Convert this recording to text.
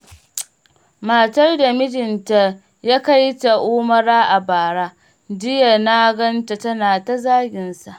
Matar da mijinta ya kaita umara a bara, jiya naganta tana ta zaginsa.